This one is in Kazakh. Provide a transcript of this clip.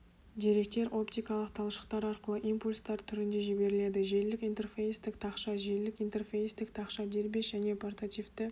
деректер оптикалық талшықтар арқылы импульстар түрінде жіберіледі желілік интерфейстік тақша желілік интерфейстік тақша дербес және портативті